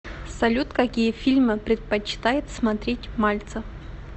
салют какие фильмы предпочитает смотреть мальцев